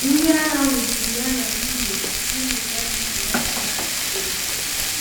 Ndi agha nwụchịri ya na nwụnye nwụnye ya na umu ya na Plateau steetị.